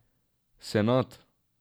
Senad.